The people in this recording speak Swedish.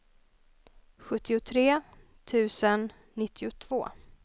sjuttiotre tusen nittiotvå